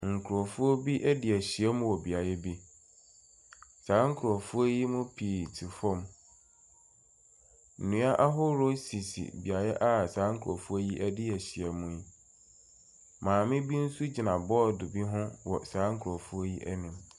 Nkurɔfoɔ bi de ahyiam wɔ beaeɛ bi. Saa nkurɔfoɔ yi mu pii te fam. Nnua ahoroɔ sisi beaeɛ a saa nkurɔfoɔ yi adi ahyiam no. Maame bi nso gyina bɔɔdo bi ho wɔ saa nkurɔfoɔ yi anim.